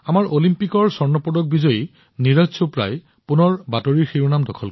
আমাৰ অলিম্পিকৰ স্বৰ্ণ পদক বিজয়ী নীৰজ চোপ্ৰা পুনৰ চৰ্চালৈ আহিছে